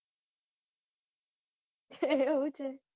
એવું છે.